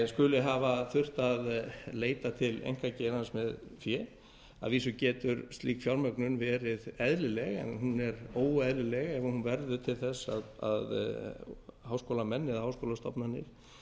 skuli hafa þurft að leita til einkageirans með fé að vísu hefur slík fjármögnun verið eðlileg en hún er óeðlileg ef hún verður til þess að háskólamenn eða háskólastofnanir